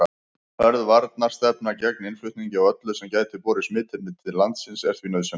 Hörð varnarstefna gegn innflutningi á öllu sem gæti borið smitefni til landsins er því nauðsynleg.